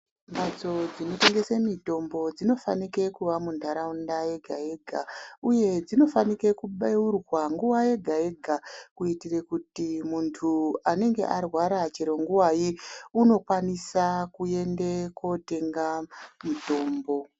Mbatso dzinotengese mitombo dzinofanike kuva muntaraunda yega-yega uye dzinofanike kubeurwa nguva yega-yega kuitire kuti muntu anenge arwara chero nguvai unokwanisa kuende kuotenga mutombo.